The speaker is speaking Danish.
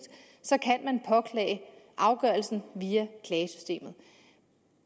kan man påklage afgørelsen via klagesystemet